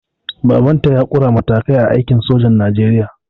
Baban ta ya ƙure matakai a aikin sojan najeriya